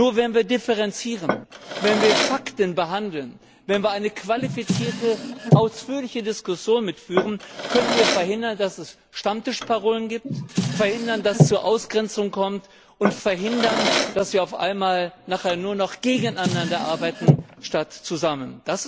Nur wenn wir differenzieren, wenn wir Fakten behandeln, wenn wir eine qualifizierte, ausführliche Diskussion führen, können wir verhindern, dass es Stammtischparolen gibt, dass es zur Ausgrenzung kommt, und dass wir auf einmal nur noch gegeneinander arbeiten statt zusammen.